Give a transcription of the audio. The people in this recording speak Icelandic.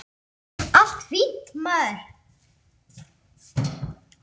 Allt fínt, maður.